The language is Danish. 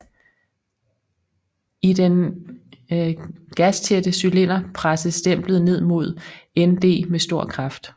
I den gastætte cylinder presses stemplet ned mod ND med stor kraft